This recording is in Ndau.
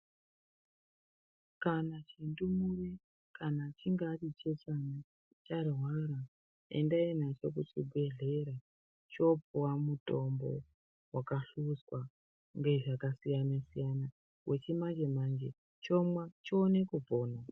Kana zvindumure kana achinge ari chechana charwara endai nacho kuchibhedhlera chopuwa mutombo wakahluzwa ngezvakasiyana siyana wechimanje manje chomwa chione kupona.